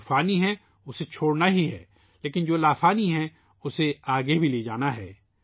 جو لازوال ہے ، اسے چھوڑنا ہی ہے لیکن جو گزرا ہوا زمانہ ہے ، اُسے آگے بھی لے جانا ہے